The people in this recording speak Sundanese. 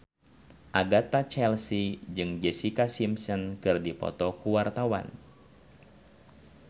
Agatha Chelsea jeung Jessica Simpson keur dipoto ku wartawan